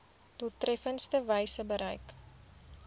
doeltreffendste wyse bereik